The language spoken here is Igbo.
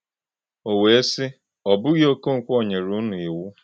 O wee sị: “Ò bụghị Okonkwo nyere unu Iwu?”